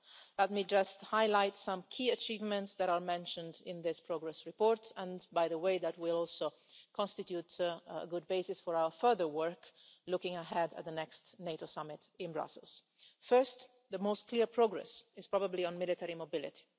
Let me just highlight some key achievements that are mentioned in this progress report, which, by the way, will also constitute a good basis for our further work looking ahead to the next NATO summit in Brussels. First, the clearest progress is probably on military mobility.